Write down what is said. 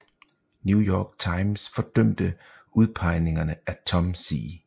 New York Times fordømte udpegningerne af Tom C